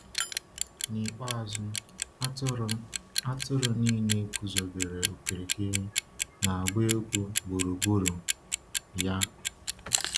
N’ikpeazụ, atụrụ atụrụ niile guzobere okirikiri, na-agba egwu gburugburu ya.